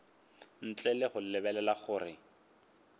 ntle le go lebelela gore